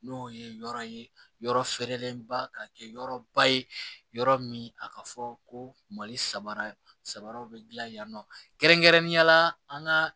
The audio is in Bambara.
N'o ye yɔrɔ ye yɔrɔ feerelenba kɛ yɔrɔ ba ye yɔrɔ min a ka fɔ ko mali sabara saba bɛ dilan yen nɔ kɛrɛnkɛrɛnnenya la an ka